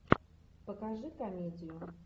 покажи комедию